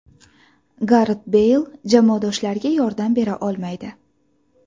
Garet Beyl jamoadoshlariga yordam bera olmaydi.